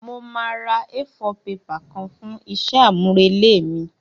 Mo máa ra A4 paper kan fún isé àmúrelé mí